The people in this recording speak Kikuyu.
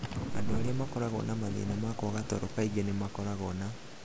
Andũ arĩa makoragwo na mathĩna ma kwaga toro kaingĩ nĩ makoragwo na